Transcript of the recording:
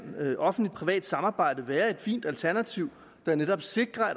offentlig privat samarbejde være et fint alternativ der netop sikrer